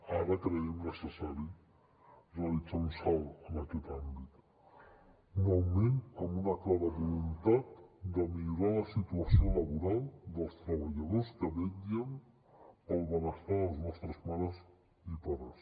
ara creiem necessari realitzar un salt en aquest àmbit un augment amb una clara voluntat de millorar la situació laboral dels treballadors que vetllen per al benestar de les nostres mares i pares